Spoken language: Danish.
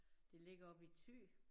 Det ligger oppe i Thy